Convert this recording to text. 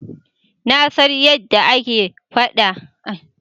Na san yadda ake dafa abinci tsakanin nahiyoyi.